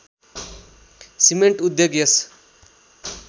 cement उद्योग यस